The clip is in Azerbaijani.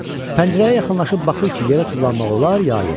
Pəncərəyə yaxınlaşıb baxır ki, yerə tullanmaq olar, ya yox.